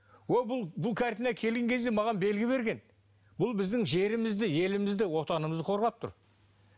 ол бұл бұл картина келген кезде маған белгі берген бұл біздің жерімізді елімізді отанымызды қорғап тұр